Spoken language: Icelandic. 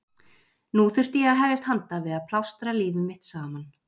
Nú þurfti ég að hefjast handa við að plástra líf mitt saman.